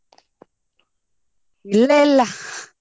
ಇಲ್ಲ ಇಲ್ಲ.